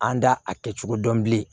An da a kɛcogo dɔn bilen